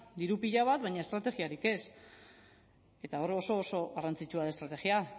diru pila bat baina estrategiarik ez eta hor oso oso garrantzitsua da estrategia